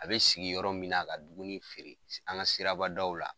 A bɛ sigi yɔrɔ min na ka dumuni feere, an ga sirabadaw la